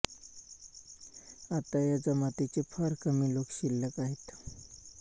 आता या जमातीचे फार कमी लोक शिल्लक आहेत